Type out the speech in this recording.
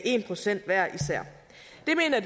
en procent hver især